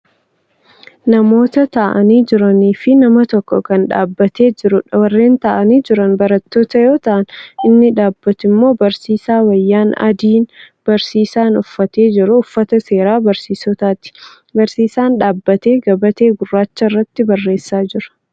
Namoota taa'anii jiraniifi nama tokko Kan dhaabbatee jiruudha. warreen taa'anii Jiran barattoota yoo ta'an inni dhaabbattu immoo barsiisaadha. wayyaan adiin barsiisaan uffatee jiru uffata seeraa barsiisotaati. barsiisaan dhaabbatee gabatee gurraacha irratti barreessaa Jira.